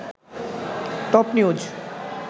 top news